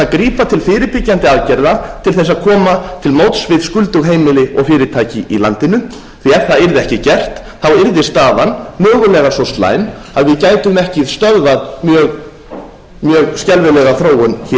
grípa til fyrirbyggjandi aðgerða til þess að koma til móts við skuldug heimili og fyrirtæki í landinu því að ef það yrði ekki gert yrði staðan mögulega svo slæm að við gætum ekki stöðvað mjög skelfilega þróun hér á landi við hljótum að